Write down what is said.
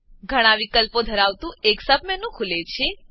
ઘણા વિકલ્પો ધરાવતું એક સબ મેનુ ખુલે છે